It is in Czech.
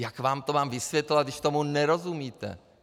Jak vám to mám vysvětlovat, když tomu nerozumíte?